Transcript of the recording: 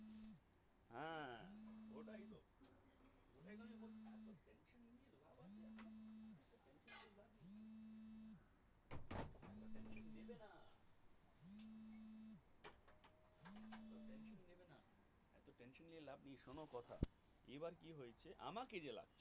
শোনো কথা এবার কি হয়েছে আমাকে যারা